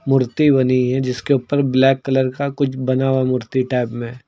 मूर्ति बनी है जिसके ऊपर ब्लैक कलर का कुछ बना हुआ मूर्ति टाइप में।